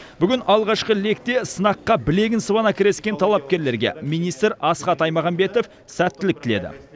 бүгін алғашқы лекте сынаққа білегін сыбана кіріскен талапкерлерге министр асхат аймағамбетов сәттілік тіледі